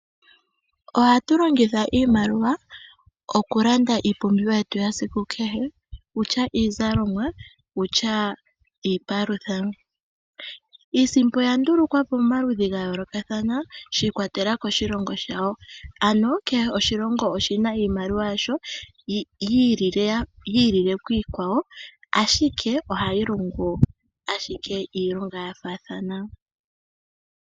Ohatu longitha iimaliwa okulanda iipumbiwa yetu yesiku kahe ngaashi iizalomwa niipalutha. Iisimpo oya ndulukwa po pamaludhi ga yoolokathana shi ikwatelela koshilongo shawo. Kehe oshilongo oshi na iimaliwa yasho yi ilile kiikwawo, ashike ohayi logo owala iilonga ya faathana.